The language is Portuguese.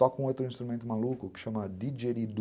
Toca um outro instrumento maluco que chama didjeridu.